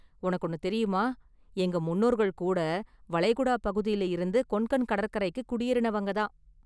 உனக்கு ஒன்னு தெரியுமா, எங்க முன்னோர்கள் கூட வளைகுடா பகுதியில இருந்து​ கொன்கன் கடற்கரைக்கு குடியேறினவங்க தான்.